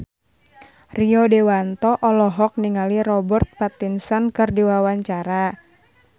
Rio Dewanto olohok ningali Robert Pattinson keur diwawancara